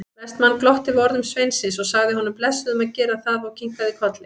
Vestmann glotti við orðum sveinsins, sagði honum blessuðum að gera það og kinkaði kolli.